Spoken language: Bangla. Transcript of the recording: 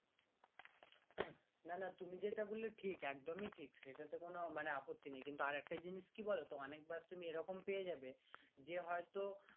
উহ নানা তুমি যেইটা বললে ঠিক একদমই ঠিক সেইটাতে কোনো মানে আপত্তি নেই কিন্তু আরেকটা জিনিস কি বলতো অনেক বাস তুমি এরকম পেয়ে যাবে যে হয়তো